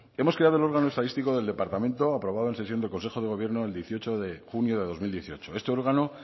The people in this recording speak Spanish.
hemos creado el órgano estadístico del departamento aprobado en sesión de consejo de gobierno el dieciocho de junio de dos mil dieciocho este órgano